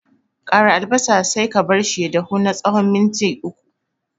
Ƙara albasa sai ka barshi ya dahu na tsawon minti uku.